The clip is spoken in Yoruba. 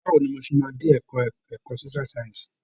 Báwo ni mo ṣe máa dé ẹ̀ka ẹ̀kọ́ Social science?